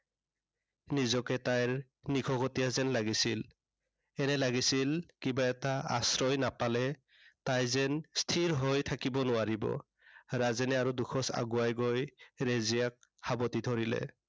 নিজকে তাইৰ নিশকতীয়া যেন লাগিছিল। এনে লাগিছিল, কিবা এটা আশ্ৰয় নাপালে তাই যেন স্থিৰ হৈ থাকিব নোৱাৰিব। ৰাজেনে আৰু দুখোজ আগুৱাই গৈ ৰেজিয়াক সাৱটি ধৰিলে।